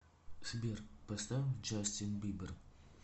сбер поставь джастин бибер